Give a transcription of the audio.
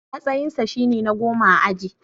Matsayinsa shine na goma a aji.